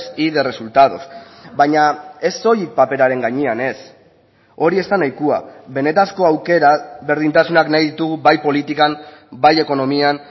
y de resultados baina ez soilik paperaren gainean ez hori ez da nahikoa benetako aukera berdintasunak nahi ditugu bai politikan bai ekonomian